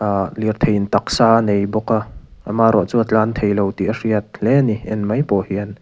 a lirtheiin taksa a nei bawk a amarawhchu a tlan theilo tih a hriat hle ani en mai pawh hian.